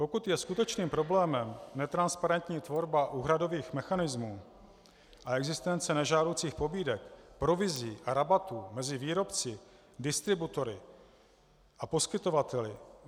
Pokud je skutečným problémem netransparentní tvorba úhradových mechanismů a existence nežádoucích pobídek, provizí a rabatů mezi výrobci, distributory a poskytovateli.